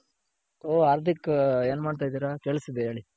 ಹು ಹಾರ್ದಿಕ್ ಏನ್ ಮಾಡ್ತ ಇದಿರ ಕೇಳುಸ್ತಿದೆ ಹೇಳಿ.